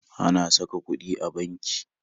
Ana sa ka kuɗi a banki